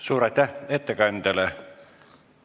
Suur aitäh ettekandjale!